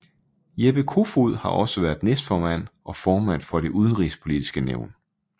Jeppe Kofod har også været næstformand og formand for Det Udenrigspolitiske Nævn